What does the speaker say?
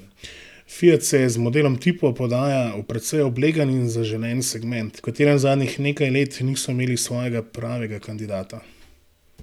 Fiat se z modelom tipo podaja v precej oblegan in zaželen segment, v katerem zadnjih nekaj let niso imeli svojega pravega kandidata.